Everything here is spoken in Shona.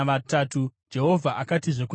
Jehovha akatizve kuna Mozisi,